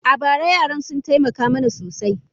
A bara, yaran sun taimaka mana sosai.